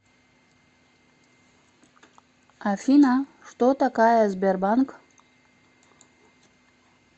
афина что такая сбербанк